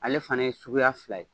Ale fana ye suguya fila ye.